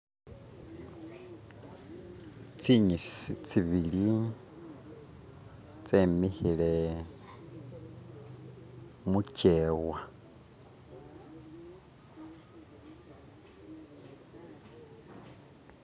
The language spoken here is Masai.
Tsinyisi tsibili tsemikhile mujewa